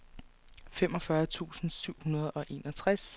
femogfyrre tusind syv hundrede og enogtres